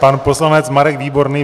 Pan poslanec Marek Výborný.